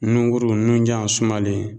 Nungurun nunjan sumalen